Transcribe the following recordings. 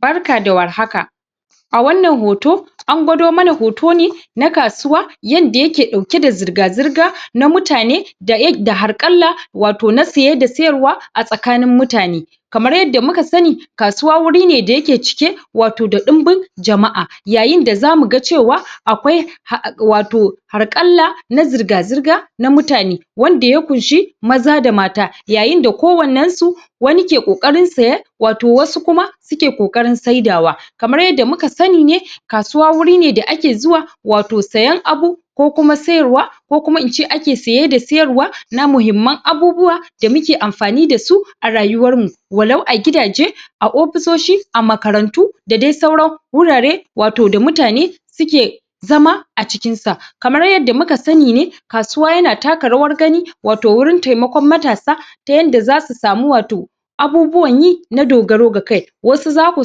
Barka da warhaka a wannan hoto an gwado mana hoto ne na kasuwa yanda yake ɗauke da zirga-zirga na mutane da harƙalla wato na siye da siyarwa a tsakanin mutane kamar yadda muka sani kasuwa wuri ne da yake cike wato da ɗimbin jama'a yayin da za mu ga cewa akwai wato harƙalla na zirga-zirga na mutane. wanda ya ƙunshi maza da mata yayin da kowannensu wani ke ƙoƙarin siye wato wasu kuma suke ƙoƙarin siyarwa kamar yadda muka sani ne, kasuwa wuri ne da ake zuwa siyen abu ko kuma siyarwa ko kuma in ce ake siye da siyarwa na muhimman abubuwa. da muke amfani da su a rayuwarmu walau a gidaje a ofisoshi a makarantu da dai sauran wurare da mutane suke zama a cikinsa. Kamar yadda muka sani ne kasuwa yana taka rawar gani wato wurin taimakon matasa ta yanda za su samu wato abubuwan yi na dogaro da kai. Wasu za ku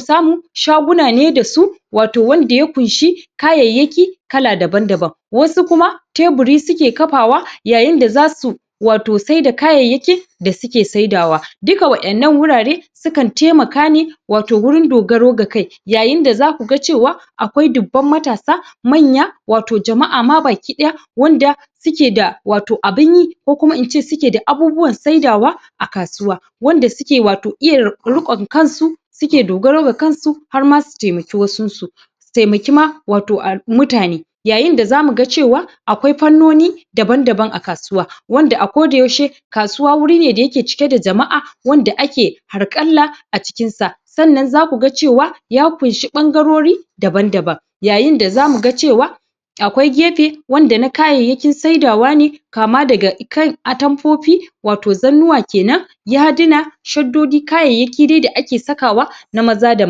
samu shaguna ne da su wato wanda ya ƙunshi kayayyaki kala dabam-daban wasu kuma teburi suke kafawa yayin da za su wato saida kayayyaki da suke saidawa. Dukka wa'innan wurare sukan taimaka ne wato wurin dogaro da kai. yayin da za ku ga cewa akwai dubban matasa manya wato jama'a ma baki ɗaya suke da wato abin yi ko kuma in ce suke da abubuwan saidawa. a kasuwa. Wanda suke wato iya ruƙon kansu suke dogaro da kansu har ma su taimaki wasunsu. Su taimaki ma mutane Yayin da za mu ga cewa akwai fannoni dabam-daban a kasuwa. wanda a kodayaushe kasuwa wuri ne da yake cike da jama'a wanda ake harƙalla a cikinsa. sannan za ku ga cewa ya ƙunshi ɓangarori dabam-daban yayin da za mu ga cewa akwai gefe wanda na kayayyakin saidawa ne kama daga kan atamfofi zannuwa ke nan yadina shaddodi kayayyaki dai da ake sakawa na manya da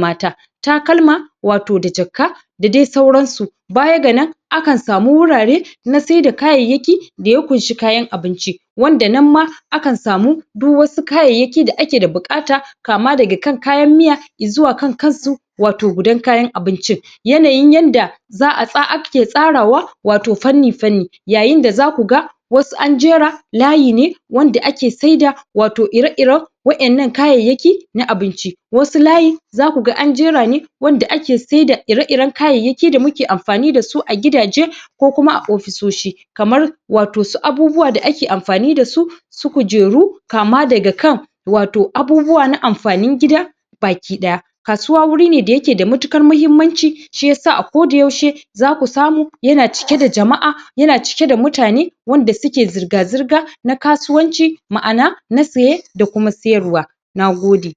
mata. takalma wato da jakka da dai sauransu. Baya ga nan akan samu wurare na saida kayyayki da ya ƙunshi kayan abinci. Wanda nan ma akan samu duk wasu kayayyaki da ake da buƙata kama daga kan kayan miya i zuwa kankansu wato gudan kayan abincin. yanayin yanda za a ake tsarawa wato fanni-fanni yayin da za ku ga wasu an jera layi ne wanda ake saida iri-iren wa'innan kayyakin na abinci wasu layi za ku ga an jera ne wanda ake saida iri-iren kayyaki da muke amfani da su a gidaje. ko kuma a ofisoshi. Kamar wato su abubuwa da ake amfani da su su kujeru kama daga kan wato abubuwa na amfanin gida baki ɗaya. Kasuwa wuri ne da yake da matuƙar muhimmanci shi ya sa a kodayaushe za ku samu yana cike da jama'a yana cike da mutane wanda suke zirga-zirga na kasuwanci. Ma'ana sa siye da kuma siyarwa. Na gode.